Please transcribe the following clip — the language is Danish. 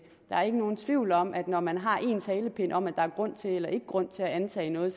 der er ikke nogen tvivl om at når man har én talepind om at der er grund til eller ikke grund til at antage noget